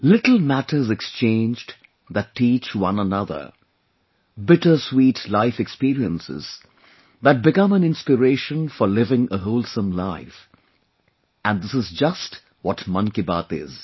Little matters exchanged that teach one another; bitter sweet life experiences that become an inspiration for living a wholesome life...and this is just what Mann Ki Baat is